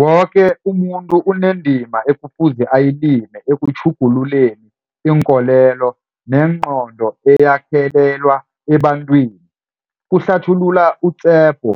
Woke umuntu unendima ekufuze ayilime ekutjhugululeni iinkolelo nengqondo eyakhelelwa ebantwini, kuhlathulula u-Tshepo.